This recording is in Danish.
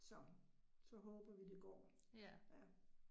Så, så håber vi det går, ja